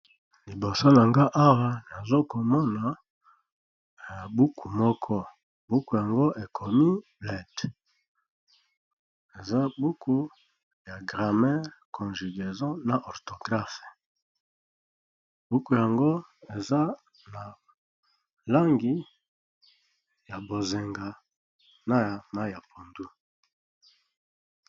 Liboso na nga awa nazo komona buku moko. Buku yango ekomi bled. Eza buku ya gramer congugeson na orthographe. Buku yango eza na langi ya bozinga na ya pondu.